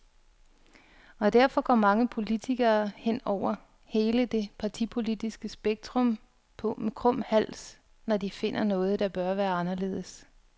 Og derfor går mange politikere, hen over hele det partipolitiske spektrum, på med krum hals, når de finder noget, der bør være anderledes.